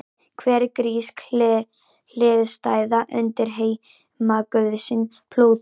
Hver er grísk hliðstæða undirheimaguðsins Plútós?